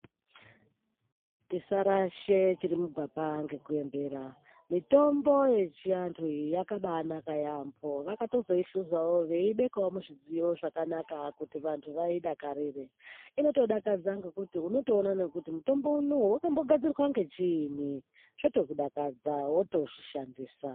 Tisarasha chiri mugwapa neku embera mitombo yechiantu iyi yakabanaka yaembo vaka zoihluzawo veibeka muzvidziyo zvakanaka kuti vantu vaidakarire unotoona kuti mutombo unowu wakagadzirwa nechinyi zvoto kudakadza woto zvishandisa.